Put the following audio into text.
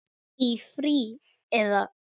Í frí. eða?